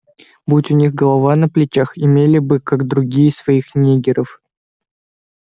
будь у них голова на плечах имели бы как другие своих ниггеров